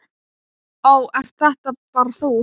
Ó, ert þetta bara þú?